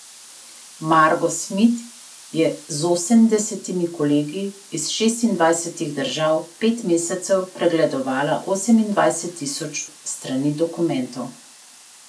Margo Smit je z osemdesetimi kolegi iz šestindvajsetih držav pet mesecev pregledovala osemindvajset tisoč strani dokumentov.